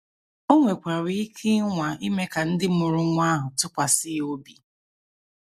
O nwekwara ike ịnwa ime ka ndị mụrụ nwa ahụ tụkwasị ya obi.